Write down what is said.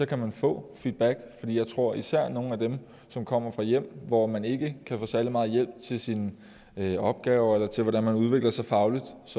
kan man få feedback for jeg tror at især for nogle af dem som kommer fra hjem hvor man ikke kan få særlig meget hjælp til sine opgaver eller til hvordan man udvikler sig fagligt